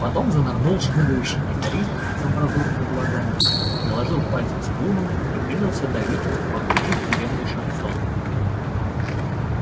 потом занырнул шмыгающий гитарист с амбразурными глазами приложил пальцы к струнам и принялся давить пахучий тюремный шансон